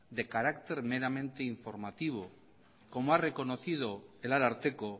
de carácter meramente informativo como ha reconocido el ararteko